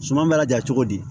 Suman bɛ laja cogo di